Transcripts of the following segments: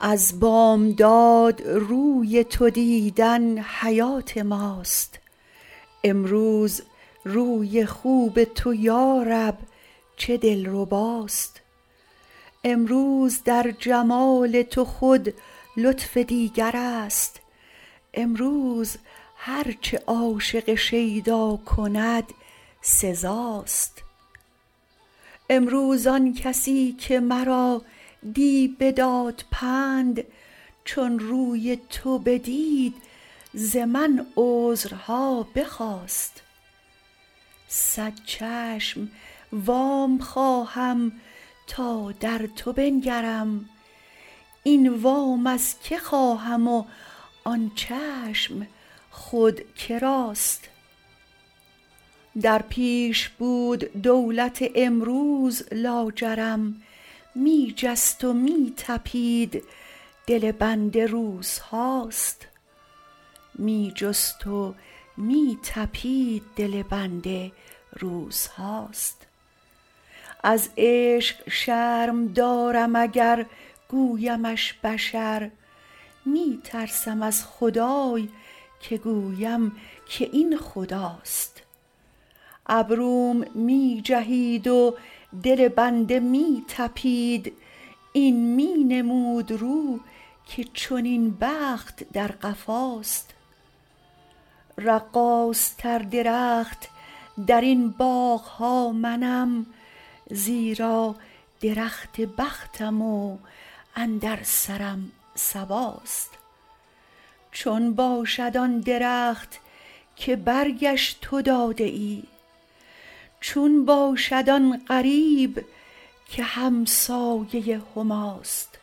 از بامداد روی تو دیدن حیات ماست امروز روی خوب تو یا رب چه دلرباست امروز در جمال تو خود لطف دیگرست امروز هر چه عاشق شیدا کند سزاست امروز آن کسی که مرا دی بداد پند چون روی تو بدید ز من عذرها بخواست صد چشم وام خواهم تا در تو بنگرم این وام از کی خواهم و آن چشم خود که راست در پیش بود دولت امروز لاجرم می جست و می طپید دل بنده روزهاست از عشق شرم دارم اگر گویمش بشر می ترسم از خدای که گویم که این خداست ابروم می جهید و دل بنده می طپید این می نمود رو که چنین بخت در قفاست رقاصتر درخت در این باغ ها منم زیرا درخت بختم و اندر سرم صباست چون باشد آن درخت که برگش تو داده ای چون باشد آن غریب که همسایه هماست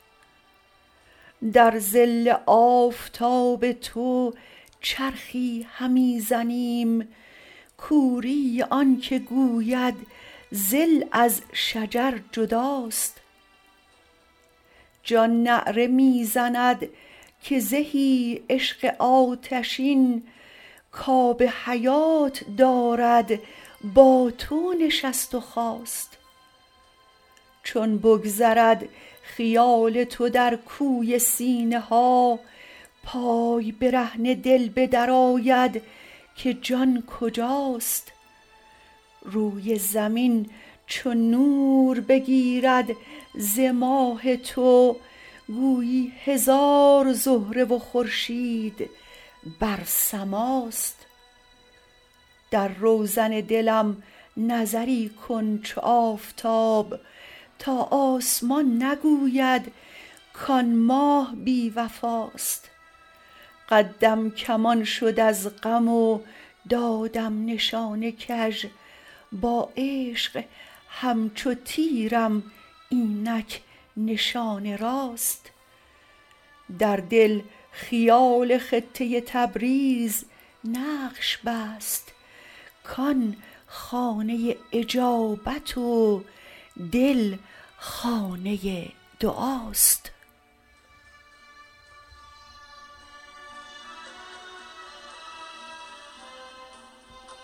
در ظل آفتاب تو چرخی همی زنیم کوری آنک گوید ظل از شجر جداست جان نعره می زند که زهی عشق آتشین کاب حیات دارد با تو نشست و خاست چون بگذرد خیال تو در کوی سینه ها پای برهنه دل به در آید که جان کجاست روی زمین چو نور بگیرد ز ماه تو گویی هزار زهره و خورشید بر سماست در روزن دلم نظری کن چو آفتاب تا آسمان نگوید کان ماه بی وفاست قدم کمان شد از غم و دادم نشان کژ با عشق همچو تیرم اینک نشان راست در دل خیال خطه تبریز نقش بست کان خانه اجابت و دل خانه دعاست